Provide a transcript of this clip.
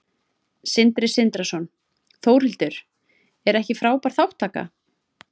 Sindri Sindrason: Þórhildur, er ekki frábær þátttaka?